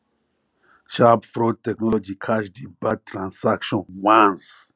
sharp fraud technology catch di bad transaction once